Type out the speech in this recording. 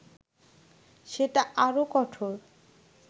সেটা আরও কঠোর